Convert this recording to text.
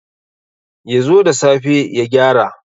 Ya zo da safe ya gyara.